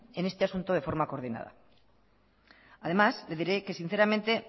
en este asunto de forma coordinada además le diré que sinceramente